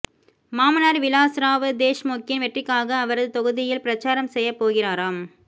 மாமனார் விலாஸ்ராவ் தேஷ்முக்கின் வெற்றிக்காக அவரது தொகுதியில் பிரச்சாரம் செய்யப்போகிறாராம்